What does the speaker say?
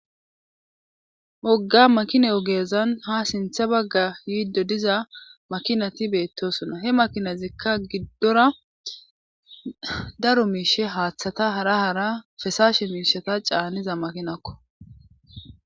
Wogga makina ogeezan ha sintha bagga yiiddo diza makinati beettosona he makinazikka giddora daro miishe haaththata hara hara fesaashe miishata caaniza makinakko